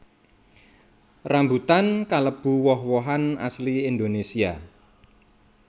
Rambutan kalebu woh wohan asli Indonésia